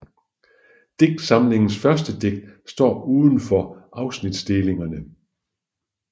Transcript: Digtsamlingens første digt står udenfor afsnitinddelingerne